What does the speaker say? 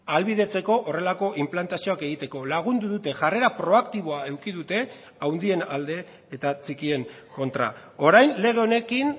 ahalbidetzeko horrelako inplantazioak egiteko lagundu dute jarrera proaktiboa eduki dute handien alde eta txikien kontra orain lege honekin